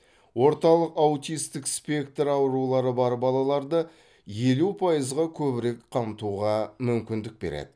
орталық аутистік спектр аурулары бар балаларды елу пайызға көбірек қамтуға мүмкіндік береді